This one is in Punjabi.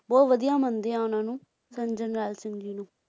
ਬਹੁਤ ਵਧੀਆ ਮੰਨਦੇ ਹੈਂ ਉਨ੍ਹਾਂ ਨੂੰ ਸੰਤ ਜਰਨੈਲ ਸਿੰਘ ਜੀ ਨੂੰ